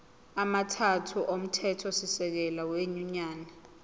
amathathu omthethosisekelo wenyunyane